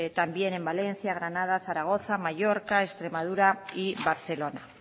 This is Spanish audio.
también en valencia granada zaragoza mallorca extremadura y barcelona